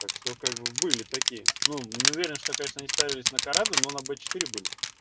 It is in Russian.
так что как бы были такие ну не уверен что конечно не ставились на караду но на б четыре были